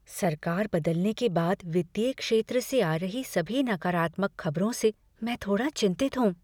सरकार बदलने के बाद वित्तीय क्षेत्र से आ रही सभी नकारात्मक खबरों से मैं थोड़ा चिंतित हूँ।